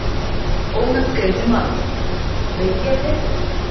Ónafngreindur maður: Veit ég betur?